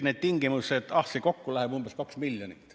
See läheb kokku maksma umbes 2 miljonit.